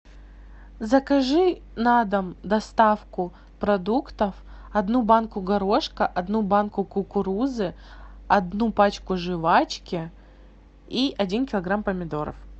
закажи на дом доставку продуктов одну банку горошка одну банку кукурузы одну пачку жвачки и один килограмм помидоров